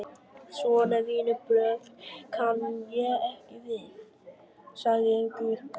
Svona vinnubrögð kann ég ekki við, sagði Guðbjörg.